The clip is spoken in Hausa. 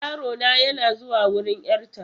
Yarona yana zuwa wurin 'yarta.